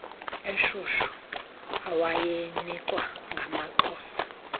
eshushu awayinikwa ngamaxhosa